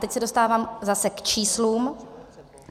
Teď se dostávám zase k číslům.